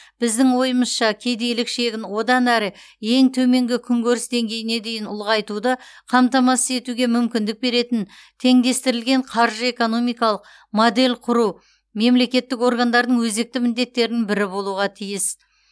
біздің ойымызша кедейлік шегін одан әрі ең төменгі күнкөріс деңгейіне дейін ұлғайтуды қамтамасыз етуге мүмкіндік беретін теңдестірілген қаржы экономикалық модель құру мемлекеттік органдардың өзекті міндеттерінің бірі болуға тиіс